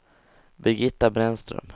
Birgitta Brännström